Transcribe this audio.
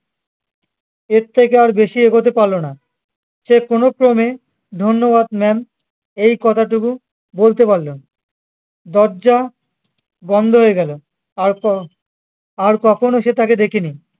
এর থেকে আর বেশি এগোতে পারলো না সে কোনো ক্রমে ধন্যবাদ ma'am এই কথাটুকু বলতে পারলো দরজা বন্ধ হয়ে গেলো আর ক আর কখনো সে তাকে দেখেনি